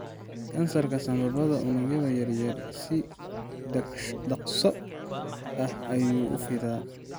Kansarka sambabada unugyada yaryar si dhakhso ah ayuu u fidaa.